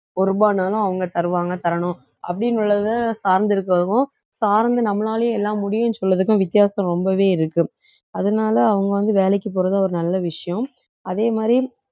ஒரு ரூபான்னாலும் அவங்க தருவாங்க தரணும் அப்படீன்னு உள்ளத சார்ந்து இருக்கிறவங்க சார்ந்து நம்மளாலேயே எல்லாம் முடியுன்னு சொல்றதுக்கும் வித்தியாசம் ரொம்பவே இருக்கு அதனால அவங்க வந்து வேலைக்கு போறது ஒரு நல்ல விஷயம் அதே மாதிரி